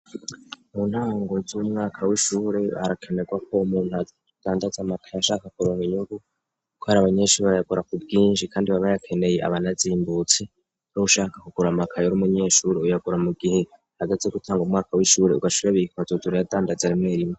M ntango z'umwaka w'ishure harakenerwako umuntu adandaza amakaye yashaka kuronka inyungu ko ari abanyeshure yakora ku bwinshi kandi baba bayakeneye aba anazimbutse ushaka kugura amakaye urumunyeshure uyagura mu gihe hageze gutangura umwaka w'ishure ugaca uyabika ukaza uradandaza rimwe rimwe.